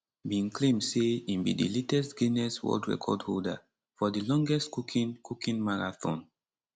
bin claim say im be di latest guinness world record holder for di longest cooking cooking marathon